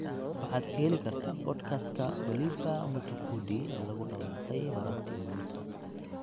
Waxaad ka heli kartaa podcast-ka Oliver Mtukudi ee lagu dhawaaqay horaantii maanta